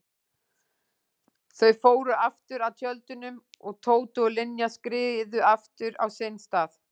Þau fóru aftur að tjöldunum og Tóti og Linja skriðu aftur á sinn stað.